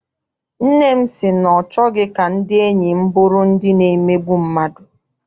Nne m sị na ọ chọghị ka ndị enyi m bụrụ ndị na-emegbu mmadụ.